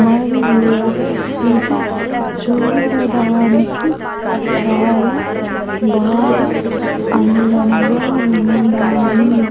మరియు ఇది చూడడానికి చాలా బాగా అందముగా ఉన్నాయి .